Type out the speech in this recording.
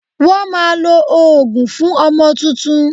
Wọ́n máa lo òógùn fún ọmọ tuntun